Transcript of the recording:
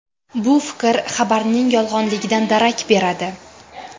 Bu fikr xabarning yolg‘onligidan darak beradi.